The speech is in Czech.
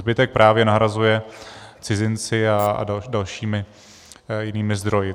Zbytek právě nahrazují cizinci a dalšími jinými zdroji.